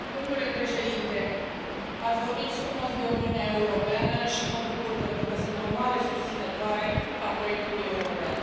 Domnule Președinte, ați vorbit frumos de Uniunea Europeană și mă bucur, pentru că sunt o mare susținătoare a proiectului european.